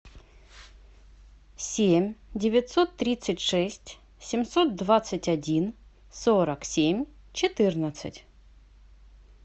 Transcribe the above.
семь девятьсот тридцать шесть семьсот двадцать один сорок семь четырнадцать